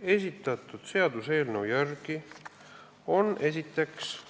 Esitatud seaduseelnõu järgi on olemas